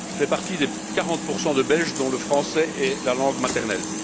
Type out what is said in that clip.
Je fais partie des 40 de Belges dont le français est la langue maternelle.